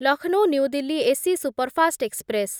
Lucknow New Delhi AC superfast express